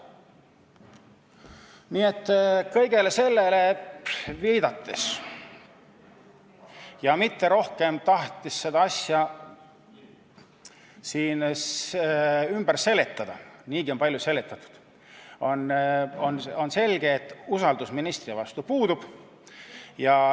Nii et kõigele sellele viidates ja mitte rohkem tahtes selle asja ümber siin seletada – niigi on palju seletatud – on selge, et usaldus ministri vastu puudub.